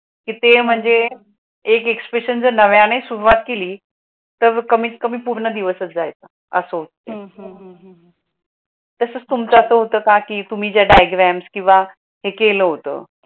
तर ते महणजे एक नव्याने सुरुवात केली तर कमीत कमी पूर्ण दिवसच जयायेचा असा होत. तसं तुमचाच होतं का की तुम्ही जे diagram केलं होतं.